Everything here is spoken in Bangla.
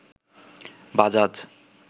বাজাজ